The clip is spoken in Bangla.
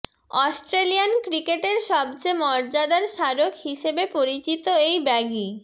অস্ট্রেলিয়ান ক্রিকেটের সবচেয়ে মর্যাদার স্মারক হিসেবে পরিচিত এই ব্যাগি